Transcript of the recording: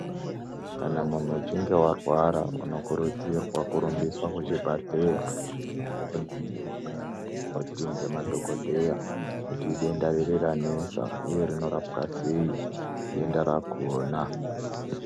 Kana muntu uchinge warwara unokurudzirwa kurumbiswa kuzvibhedhlera wondoningurwa nana mukoti nemadhogodheya kuti idenda riri ranesa uye rinorapwa sei denda rakona.